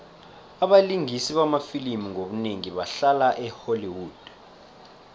abalingisi bamafilimu ngobunengi bahlala e holly wood